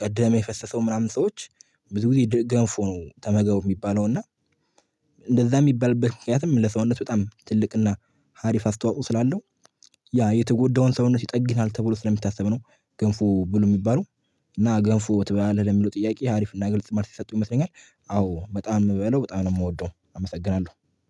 ቀደም የፈሰሰው ምናምን ሰዎች። ብዙ ጊዜ ገንፎ ነው ተመገቡ የሚባለው እና። እንደዛ የሚባልበት ምክንያትም ለሰውነት በጣም ትልቅና ሀሪፍ አስተዋጽኦ ስላለው ያ የተጎዳውን ሰውነት ይጠግናል ተብሎ ስለሚታሰብ ነው። ገንፎ ብሉ የሚባለው። እና ገንፎ ትበላለህ ለሚለው ጥያቄ ሀሪፍ እና ግልጽ መልስ የሰጠው ይመስለኛል። አዎ በጣም በለው በጣም ነው የምወደው አመሰግናለሁ